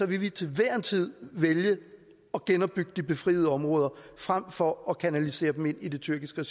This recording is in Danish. vil vi til hver en tid vælge at genopbygge de befriede områder frem for at kanalisere dem ind i det tyrkiske